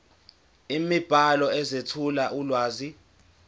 imibhalo ezethula ulwazi